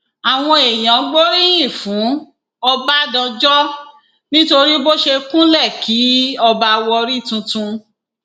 àwọn èèyàn gbóríyìn fún ọbadáńjọ nítorí bó ṣe kúnlẹ kí ọba warri tuntun